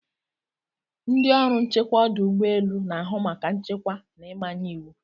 Ndị ọrụ nchekwa ọdụ ụgbọ elu na-ahụ maka nchekwa na ịmanye iwu.